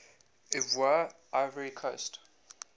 ivoire ivory coast